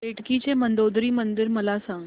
बेटकी चे मंदोदरी मंदिर मला सांग